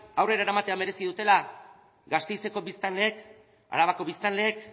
aurrera eramatea merezi dutela gasteizeko biztanleek arabako biztanleek